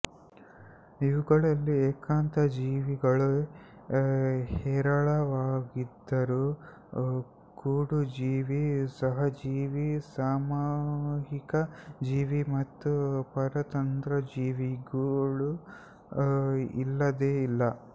ಇವುಗಳಲ್ಲಿ ಏಕಾಂತ ಜೀವಿಗಳೇ ಹೇರಳವಾಗಿದ್ದರೂ ಕೂಡುಜೀವಿ ಸಹಜೀವಿ ಸಾಮೂಹಿಕ ಜೀವಿ ಮತ್ತು ಪರತಂತ್ರಜೀವಿಗಳೂ ಇಲ್ಲದೇ ಇಲ್ಲ